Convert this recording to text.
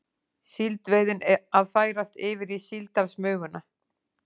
Síldveiðin að færast yfir í síldarsmuguna